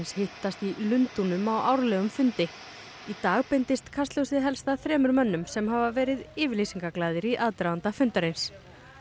hittast í Lundúnum á árlegum fundi í dag beindist kastljósið helst að þremur mönnum sem hafa verið yfirlýsingaglaðir í aðdraganda fundarins